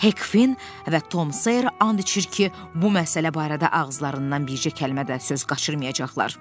Hek Fin və Tom Seer and içir ki, bu məsələ barədə ağızlarından bircə kəlmə də söz qaçırmayacaqlar.